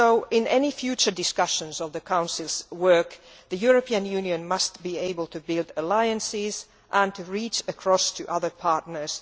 In any future discussions of the Council's work, the European Union must be able to build alliances and to reach across to other partners.